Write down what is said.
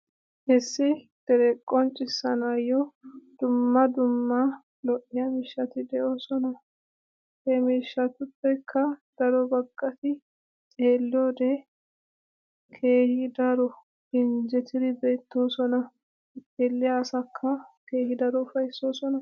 Issi dere qonccissanayyo dumma dumma lo''iya miishshati doosona. He miishshatuppekka daro baggaati xeelliyoode keehi daro injjettidi beettoosona. Xeelliyaa asakka keehi daro ufayssoosona.